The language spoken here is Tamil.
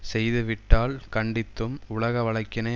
செய்து விட்டால் கண்டித்தும் உலக வழக்கினை